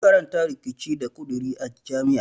Ya karanta riƙici da ƙuduri a jami'a.